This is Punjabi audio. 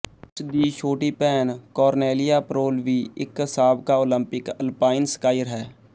ਉਸ ਦੀ ਛੋਟੀ ਭੈਣ ਕੋਰਨੈਲਿਆ ਪ੍ਰੋਲ ਵੀ ਇੱਕ ਸਾਬਕਾ ਓਲੰਪਿਕ ਅਲਪਾਈਨ ਸਕਾਈਰ ਹੈ